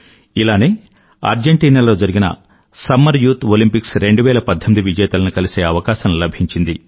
ఇలానే అర్జెంటీనా లో జరిగిన సమ్మర్ యూత్ ఒలింపిక్స్ 2018 విజేతలను కలిసే అవకాశం లభించింది